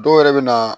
Dɔw yɛrɛ bɛ na